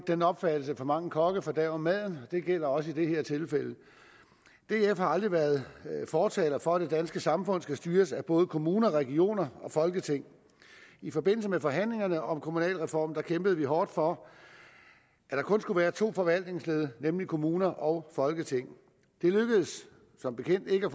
den opfattelse at for mange kokke fordærver maden og det gælder også i det her tilfælde df har aldrig været fortaler for at det danske samfund skal styres af både kommuner regioner og folketing i forbindelse med forhandlingerne om kommunalreformen kæmpede vi hårdt for at der kun skulle være to forvaltningsled nemlig kommuner og folketing det lykkedes som bekendt ikke